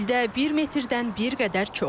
İldə bir metrdən bir qədər çox.